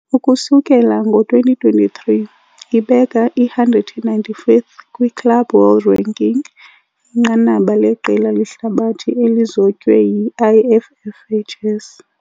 Ukusukela ngo-2023, ibeka i-195th kwi- "Club World Ranking", inqanaba leqela lehlabathi elizotywe yi- IFFHS .